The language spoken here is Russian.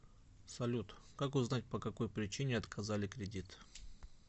салют как узнать по какой причине отказали кредит